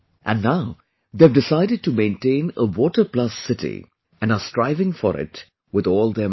And now they have decided to maintain a 'Water Plus City' and are striving for it with all their might